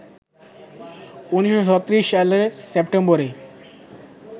১৯৩৬ সালের সেপ্টেম্বরে